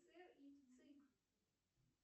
сер и вцик